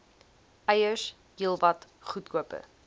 eiers heelwat goedkoper